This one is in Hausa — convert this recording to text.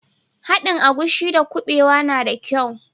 Haɗin agushi da kubewa na da kyau.